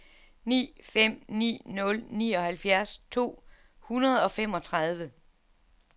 ni fem ni nul nioghalvfjerds to hundrede og femogtredive